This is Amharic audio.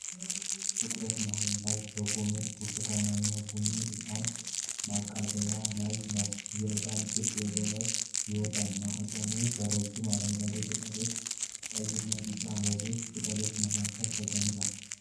ትኩረቱ መሃል ላይ በቆመው ብርቱካንማና ቡኒ ዕጣን ማቃጠያ ላይ ነው። የዕጣን ጭስ ወደ ላይ ይወጣል፤ ማቃጠያው በረጅም አረንጓዴ ቅጠሎች፣ ቀይና ቢጫ የአበባ ቅጠሎች መካከል ተቀምጧል።